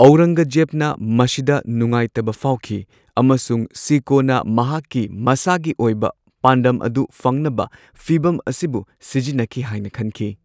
ꯑꯧꯔꯪꯒꯖꯦꯕꯅ ꯃꯁꯤꯗ ꯅꯨꯡꯉꯥꯏꯇꯕ ꯐꯥꯎꯈꯤ ꯑꯃꯁꯨꯡ ꯁꯤꯀꯣꯅ ꯃꯍꯥꯛꯀꯤ ꯃꯁꯥꯒꯤ ꯑꯣꯏꯕ ꯄꯥꯟꯗꯝ ꯑꯗꯨ ꯐꯪꯅꯕ ꯐꯤꯚꯝ ꯑꯁꯤꯕꯨ ꯁꯤꯖꯤꯟꯅꯈꯤ ꯍꯥꯏꯅ ꯈꯟꯈꯤ꯫